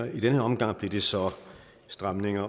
i denne omgang blev det så stramninger